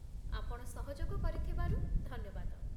ଆପଣ ସହଯୋଗ କରିଥିବାରୁ ଧନ୍ୟବାଦ ।